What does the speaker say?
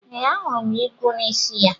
Ee, ahụrụ m igwu n'isi ya.